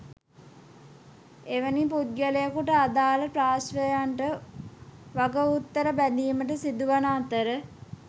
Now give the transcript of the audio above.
එවැනි පුද්ගලයකුට අදාළ පාර්ශ්වයන්ට වගඋත්තර බැඳීමට සිදුවන අතර